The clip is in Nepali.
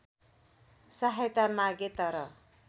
सहायता मागे तर